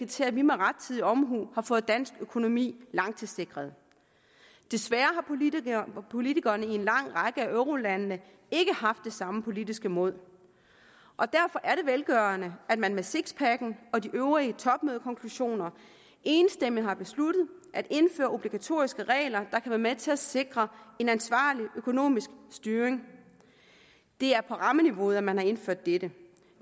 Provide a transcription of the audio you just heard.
til at vi med rettidig omhu har fået dansk økonomi langtidssikret desværre har politikerne i en lang række af eurolandene ikke haft det samme politiske mod og derfor er det velgørende at man med sixpacken og de øvrige topmødekonklusioner enstemmigt har besluttet at indføre obligatoriske regler der kan være med til at sikre en ansvarlig økonomisk styring det er på rammeniveauet at man har indført dette